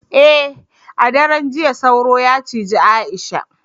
eh a daren jiya sauro ya cije Aisha